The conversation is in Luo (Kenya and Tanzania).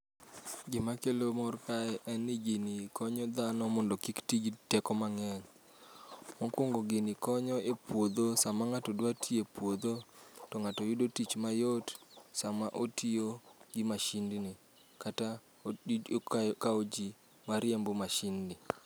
Gima kelo mor kae en ni gini konyo dhano mondo kik ti gi teko mang'eny. Mokuongo gini konyo e puodho, sama ng'ato dwa tiyo e puodho to ng'ato yudo tich mayot sama otiyo gi masindni kata okawo ji mariembo masindni.